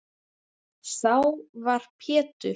Þá var Pétur